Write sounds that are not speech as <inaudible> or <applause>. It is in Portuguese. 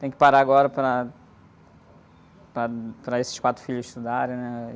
Tenho que parar agora para, para, <unintelligible> para esses quatro filhos estudarem, né?